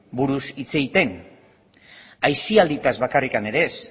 buruz hitz egiten aisialdiaz bakarrik ere ez